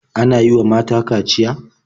Ana yi wa mata kaciya?